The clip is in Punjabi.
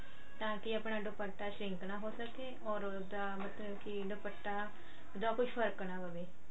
ਤਾਂ ਕਿ ਆਪਣਾ ਦੁਪੱਟਾ shrink ਨਾਂ ਹੋ ਸਕੇ or ਉਹਦਾ ਮਤਲਬ ਕਿ ਦੁਪੱਟਾ ਜਾਂ ਕੋਈ ਫ਼ਰਕ ਨਾਂ ਪਵੇ